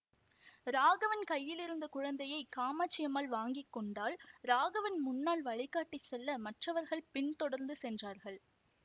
ராகவன் கையிலிருந்த குழந்தையை காமாட்சி அம்மாள் வாங்கி கொண்டாள் ராகவன் முன்னால் வழிகாட்டிச் செல்ல மற்றவர்கள் பின்தொடர்ந்து சென்றார்கள்